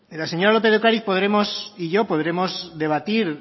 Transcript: la señora lópez de ocariz y yo podremos debatir